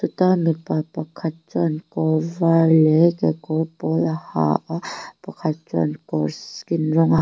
ta mipa pakhat chuan kawr var leh kekawr pawl a ha a pakhat chuan kawr skin rawng a ha--